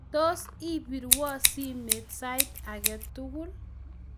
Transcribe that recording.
tos ibirwo simet sait age tugul